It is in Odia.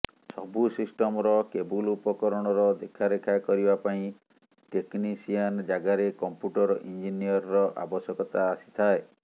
ସବୁ ସିଷ୍ଟମର କେବୁଲ ଉପକରଣର ଦେଖାରେଖା କରିବା ପାଇଁ ଟେକନିସିଆନ ଜାଗାରେ କମ୍ପ୍ୟୁଟର ଇଞ୍ଜିନିୟରର ଆବଶ୍ୟକତା ଆସିଥାଏ